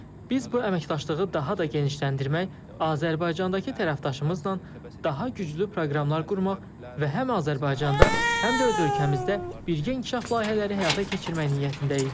Biz bu əməkdaşlığı daha da genişləndirmək, Azərbaycandakı tərəfdaşımızla daha güclü proqramlar qurmaq və həm Azərbaycanda, həm də öz ölkəmizdə birgə inkişaf layihələri həyata keçirmək niyyətindəyik.